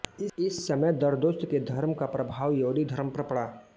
इस समय जरदोश्त के धर्म का प्रभाव यहूदी धर्म पर पड़ा